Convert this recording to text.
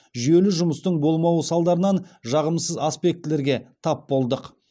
жүйелі жұмыстың болмауы салдарынан жағымсыз аспектілерге тап болдық